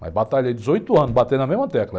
Mas batalhei dezoito anos batendo a mesma tecla.